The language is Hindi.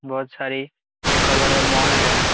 बहोत सारी मॉल है।